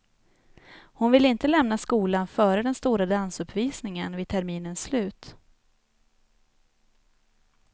Hon ville inte lämna skolan före den stora dansuppvisningen vid terminens slut.